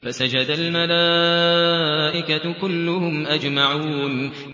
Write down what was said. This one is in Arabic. فَسَجَدَ الْمَلَائِكَةُ كُلُّهُمْ أَجْمَعُونَ